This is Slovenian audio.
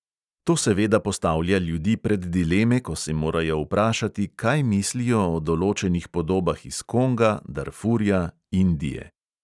To seveda postavlja ljudi pred dileme, ko se morajo vprašati, kaj mislijo o določenih podobah iz konga, darfurja, indije …